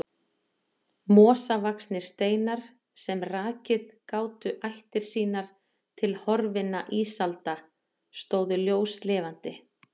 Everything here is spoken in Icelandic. Mosavaxnir steinar, sem rakið gátu ættir sínar til horfinna ísalda, stóðu ljóslifandi.